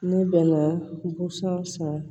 Ne bɛna busan san